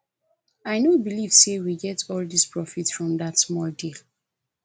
i no believe say we get all dis profit from dat small deal